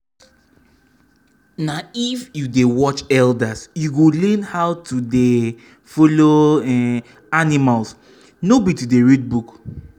na if you dey watch elders you go learn how to dey um follow um animals no be to dey read book o.